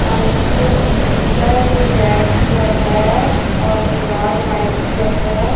और नीचे कुछ बिछाया जो रेड कलर का है और दिवार व्हाइट कलर का है।